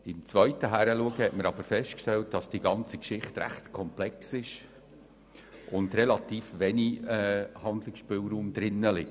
Auf den zweiten Blick stellten wir aber fest, dass die ganze Geschichte ziemlich komplex ist und relativ wenig Handlungsspielraum besteht.